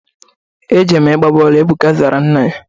Ejere m ịgba bọọlụ. Ebuka zara nna ya.